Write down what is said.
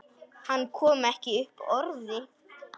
Hann kom ekki upp orði.